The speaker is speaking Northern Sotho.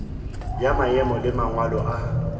ya maemo le mangwalo a